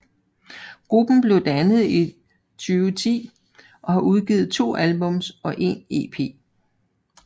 Gruppen blev dannet i 2010 og har udgivet to albums og en EP